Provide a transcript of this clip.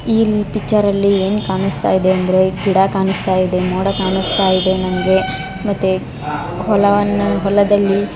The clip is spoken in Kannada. ಈ ಪಿಚ್ಚರ್ ಅಲ್ಲಿ ಏನು ಕಾಣಿಸ್ತಾ ಇದೆ ಅಂದ್ರೆ ಗಿಡ ಕಾಣಿಸ್ತಾ ಇದೆ ಮೋಡ ಕಾಣಿಸ್ತಾ ಇದೆ ಮತ್ತು ಹೊಲವನ್ನು ಹೊಲದಲ್ಲಿ.